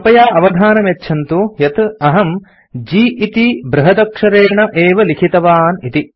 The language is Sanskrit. कृपया अवधानं यच्छन्तु यत् अहं G इति बृहदक्षरेण एव लिखितवान् इति